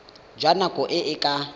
jwa nako e e ka